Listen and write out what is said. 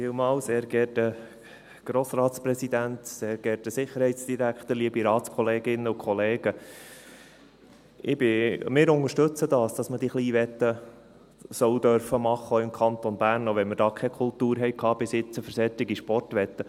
Wir unterstützen, dass man diese Kleinwetten machen darf, auch im Kanton Bern, auch wenn wir hier bisher keine Kultur hatten für solche Sportwetten.